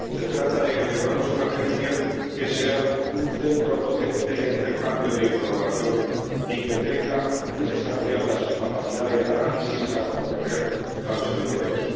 Se trata de que tengamos una Agencia que sea un centro potente de intercambio de información y que tenga muy desarrollada su capacidad de análisis para proteger a los europeos.